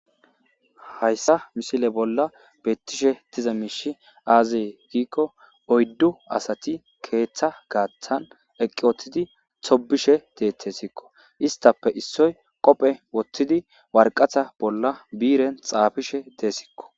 hayssa misile bolla bettishe diza miishi aazee giikko oyddu asati keeththa gaaththan eqi uttidi tobishe deteeskko. istappe issoy qophe wothidi warqatha bolla biiren xaafishe dees.